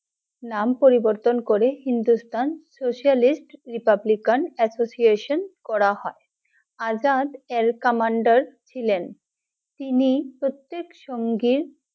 নাম পরিবর্তন করে হিন্দুস্তান Socialist Republican Association করা হয়, আজাদ এর commander ছিলেন, তিনি প্রত্যেক সংগে